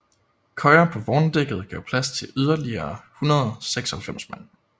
Køjer på vogndækket gav plads til yderligere 196 mand